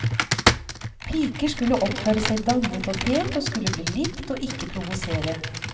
Piker skulle oppføre seg dannet og pent, og skulle bli likt og ikke provosere.